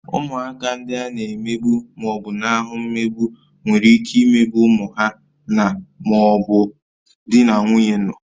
Ụmụaka ndị a na-emegbu ma ọ bụ na-ahụ mmegbu nwere ike imegbu ụmụ ha na/ma ọ bụ di na nwunye nọ